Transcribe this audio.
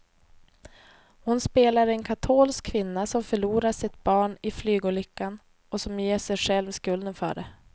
Hon spelar en katolsk kvinna som förlorar sitt barn i flygolyckan och som ger sig själv skulden för det.